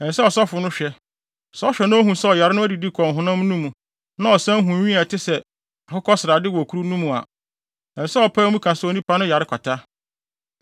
ɛsɛ sɛ ɔsɔfo no hwɛ; sɛ ɔhwɛ na ohu sɛ ɔyare no adidi kɔ ɔhonam no mu na ɔsan hu nwi a ɛte sɛ akokɔsrade wɔ kuru no mu a, ɛsɛ sɛ ɔpae mu ka se onipa no yare kwata.